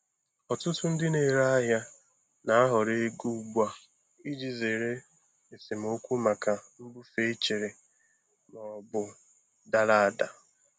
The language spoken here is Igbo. Ọtụtụ ndị na-ere ahịa na-ahọrọ ego ugbu a iji zere esemokwu maka mbufe echere ma ọ bụ dara ada.